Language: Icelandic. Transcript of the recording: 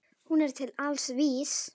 Hún er til alls vís.